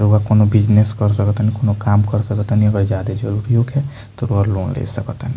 रउवा कउनो बिज़नेस कर सका तानी कउनो काम कर सका तानी अगर ज्यादा जरुरी होखे तो एगो और लोन ले सकतानि |